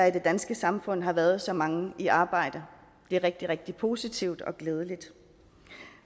i det danske samfund har været så mange i arbejde det er rigtig rigtig positivt og glædeligt